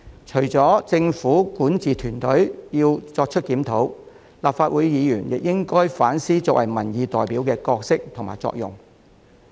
除了政府管治團隊要作出檢討外，立法會議員也應該反思作為民意代表的角色及作用。